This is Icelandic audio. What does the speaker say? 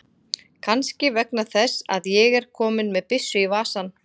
Kannski vegna þess að ég er kominn með byssu í vasann.